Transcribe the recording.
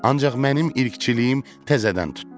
Ancaq mənim irqçiliyim təzədən tutdu.